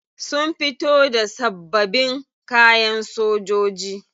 Sun fito da sabbabin kayan sojoji.